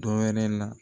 Dɔ wɛrɛ la